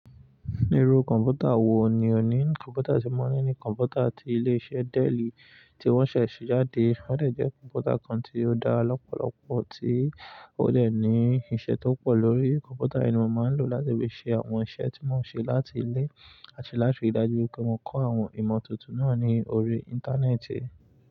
Irú kọ̀ǹpútà wo ni òní? Kọ̀ǹpútà tí mo ní ni kọ̀ǹpútà ti ilé iṣẹ́ Dell tí wọ́n ṣẹ̀ ṣe jáde. Ó dà jẹ kọ̀ǹpútà kan tí ó dára lọ́pọ̀lọpọ̀ tí ó dẹ̀ ní iṣẹ́ tó pọ̀ lórí. Kọ̀ǹpútà yìí ni mo máa ń lò láti fi ṣe àwọn iṣẹ́ tí mo ń ṣe láti ilé àti láti ri dájú pé mo kọ́ àwọn ìmọ̀ tuntun náà ní orí Íńtánẹ́ẹ̀tì.